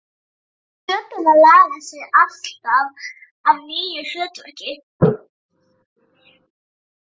Plöturnar laga sig alltaf að nýju hlutverki.